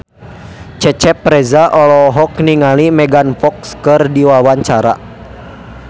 Cecep Reza olohok ningali Megan Fox keur diwawancara